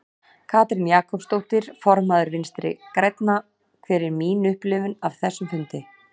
Katrín Jakobsdóttir, formaður Vinstri grænna: Hver er mín upplifun af þessum fundi?